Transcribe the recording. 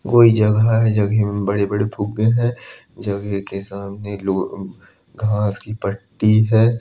कोई जगह है। जगह में बड़े बड़े फुग्गे हैं। जगेह के सामने लो हम्म घांस की पट्टी है।